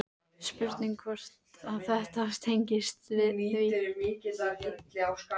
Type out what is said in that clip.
Spurning hvort að þetta tengist því?